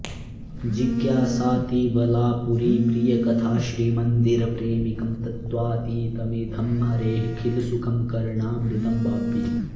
जिज्ञासातिबला पुरीप्रियकथा श्रीमन्दिरप्रेमिकं तत्त्वातीतमिदं हरेः खिलसुखं कर्णामृतं भावये